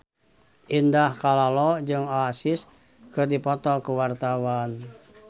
Indah Kalalo jeung Oasis keur dipoto ku wartawan